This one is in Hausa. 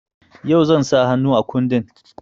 Yau zan sa hannu a kundin.